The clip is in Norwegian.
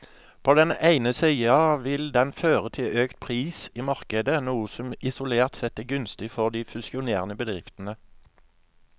På den ene siden vil den føre til økt pris i markedet, noe som isolert sett er gunstig for de fusjonerende bedriftene.